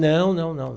Não, não, não.